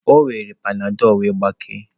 O were panadol wee gbakee.